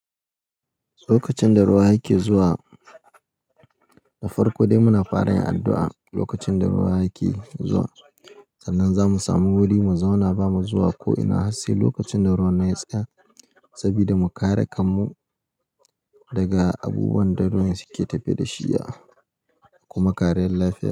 Lokacin da ruwa yake zuwa, da farko dai muna fara yin addu'a. Lokacin da ruwa yake zuwa, sannan za mu samu wuri mu zauna ba mu zuwa ko ina har sai lokacin da ruwan ya tsaya. Saboda mu kare kanmu daga abubuwan da ruwan suke tafe da shi, kuma kare lafiyar mu.